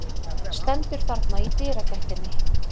Stendur þarna í dyragættinni.